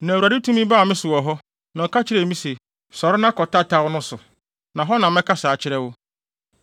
Na Awurade tumi baa me so wɔ hɔ, na ɔka kyerɛɛ me se, “Sɔre na kɔ tataw no so, na hɔ na mɛkasa akyerɛ wo.”